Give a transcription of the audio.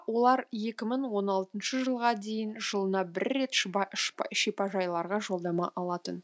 олар екі мың он алтыншы жылға дейін жылына бір рет шипажайларға жолдама алатын